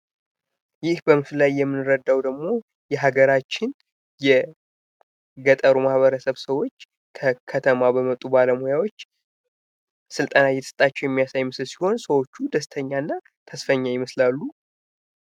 ይህ በምስሉ ላይ የምንረዳው ደግሞ የሀገራችን የገጠሩ ማህበረሰብ ሰዎች ከከተማ በመጡ ባለሙያዎች ስልጠና እየተሰጣቸው የሚያሳይ ምስል ሲሆን ሰዎቹም ደስተኛና ተስፈኛ ይመስላሉ።